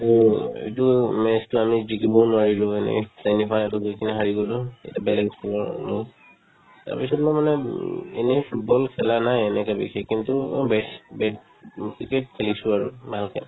এইটো match তো আমি জিকিব নোৱাৰিলো মানে তেনেকুৱাই আৰু জিকি কিনে হাৰি গ'লো এটা বেলেগ team ৰ কাৰণে তাৰ পিছত মই মানে উম এনেই football খেলা নাই এনেকে বেছি কিন্তু অ' base bat উম cricket খেলিছো আৰু ভালকে